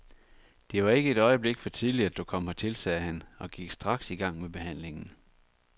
Det var ikke et øjeblik for tidligt, at du kom hertil, sagde han, og gik straks i gang med behandlingen.